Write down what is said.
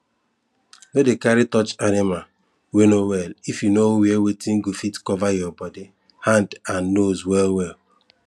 no dey carry touch animal wey no well if you no wear weyth go fit cover your body hand and nose well well